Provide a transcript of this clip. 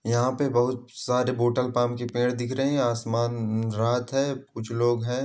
यहाँ पे बहुत सारे बोटल पाम के पेड़ दिख रहे है आसमान रात है कुछ लोग हैं।